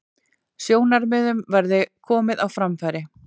Sjónarmiðum verði komið á framfæri